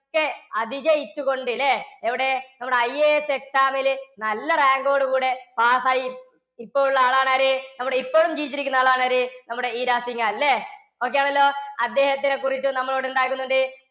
ക്കെ അതിജയിച്ചുകൊണ്ട് ല്ലേ? എവിടെ നമ്മളെ IASexam ല് നല്ല rank ഓടുകൂടെ pass ആയി ഇപ്പോളുള്ള ആളാണ്‌ ആര്? നമ്മടെ ഇപ്പോളും ജീവിച്ചിരിക്കുന്ന ആളാണ്‌ ആര്, നമ്മടെ ഇരാ സിഘാള്‍, ല്ലേ? okay ആണല്ലോ? അദ്ദേഹത്തിനെക്കുറിച്ചു നമ്മളിവിടെ എന്താക്കുന്നുണ്ട്?